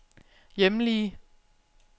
hjemlige